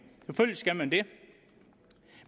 selvfølgelig skal man det